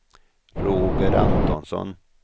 Roger Antonsson